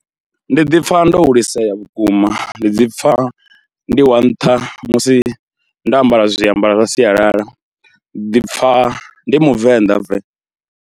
Ndi ḓi pfha ndo hulisea vhukuma, ndi ḓi pfha, ndi wa nṱha musi ndo ambara zwiambaro zwa sialala ndi ḓi pfha ndi muvenḓa ve.